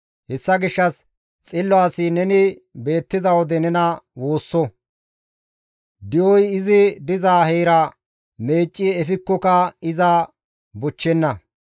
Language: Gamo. Hessa gishshas xillo asi neni beettiza wode nena woosso; di7oy izi diza heera meecci efikkoka iza bochchenna.